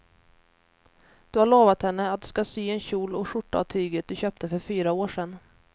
Du har lovat henne att du ska sy en kjol och skjorta av tyget du köpte för fyra år sedan.